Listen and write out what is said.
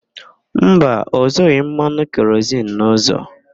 Mba, ọ zụghị mmanụ kerozin n'ụzọ.